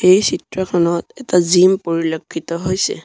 এই চিত্ৰখনত এটা জিম পৰিলক্ষিত হৈছে।